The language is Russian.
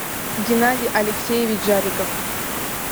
геннадий алексеевич жариков